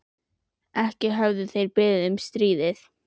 Ekki höfðu þeir beðið um stríðið.